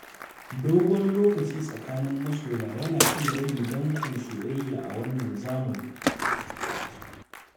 Dogon lokaci tsakanin masoya yana iya rage danƙon soyayya a wannan zamani.